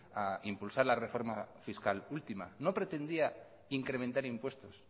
a impulsar la reforma fiscal última no pretendía incrementar impuestos